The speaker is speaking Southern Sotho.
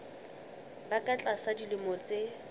ba ka tlasa dilemo tse